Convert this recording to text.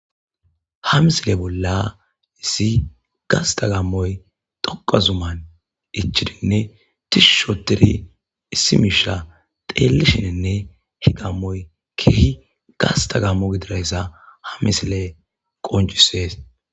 Ha misile bolla issi gasta gaammoy dhoqqa zuman ichcbidinne tishshi oothidi issi miisha xeelishininne, ha gaammoy keehippe gasta gaammo gididaysa ha misiley qoncisees.